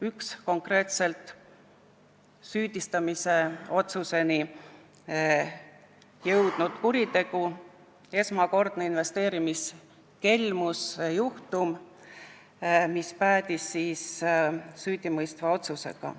Üks neist on konkreetselt süüdistuseni jõudnud kuritegu, esmakordne investeerimiskelmuse juhtum, mis päädis süüdimõistva otsusega.